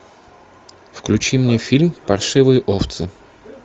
включи мне фильм паршивые овцы